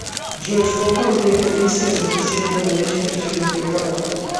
джой сколько рублей комиссия за внисение наличных через банкомат